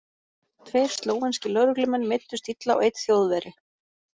Tveir slóvenskir lögreglumenn meiddust illa og einn þjóðverji.